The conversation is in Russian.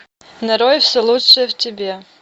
нарой все лучшее в тебе